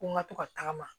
Ko n ka to ka tagama